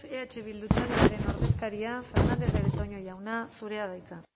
eh bildu taldearen ordezkaria fernandez de betoño jauna zurea da hitza